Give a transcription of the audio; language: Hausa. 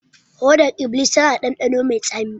Hodar iblis tana da dandano mai tsami